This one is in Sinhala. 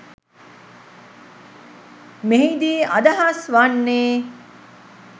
මෙහිදී අදහස් වන්නේ